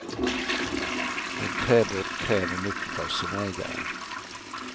En träbåt kräver mycket av sin ägare.